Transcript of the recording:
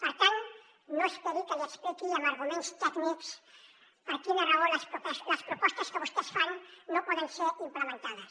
per tant no esperi que li expliqui amb arguments tècnics per quina raó les propostes que vostès fan no poden ser implementades